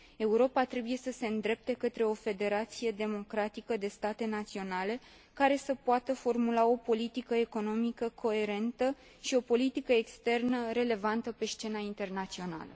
Europa trebuie să se îndrepte către o federație democratică de state naționale, care să poată formula o politică economică coerentă și o politică externă relevantă pe scena internațională.